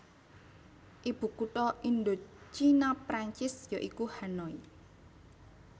Ibukutha Indochina Prancis ya iku Hanoi